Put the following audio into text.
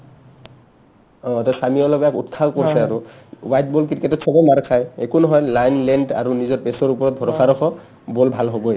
অ তই ছামীও লগত অলপ উৎসাহ উপজিছে আৰু wide ball cricket তত চবে মাৰ খাই একো নহয় line, length আৰু নিজৰ base ৰ ওপৰত ভৰষা ৰখ ball ভাল হ'বয়ে ।